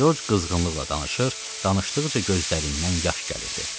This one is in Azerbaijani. Corc qızğınlıqla danışır, danışdıqca gözlərindən yaş gəlirdi.